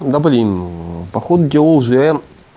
да блин походу дело уже